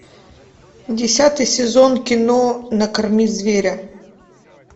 десятый сезон кино накорми зверя